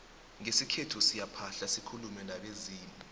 ngesikhethu siyaphahla sikulume nabezimu